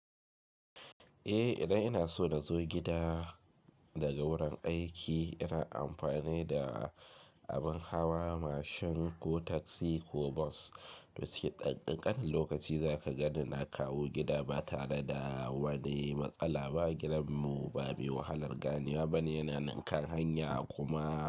Eh, idan ina so na zo gida daga wurin aiki, ina amfani da abin hawa, mashin ko taksi ko bus. To sai ƙanƙanin lokaci za ka gan ni na kawo gida ba tare da wani matsala ba. Gidanmu ba mai wahalar ganewa ba ne, yana nan kan hanya kuma.